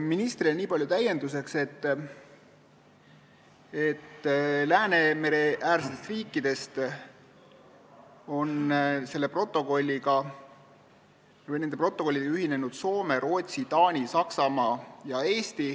Ministri jutule niipalju täienduseks, et Läänemere-äärsetest riikidest on selle protokolliga ühinenud Soome, Rootsi, Taani, Saksamaa ja Eesti.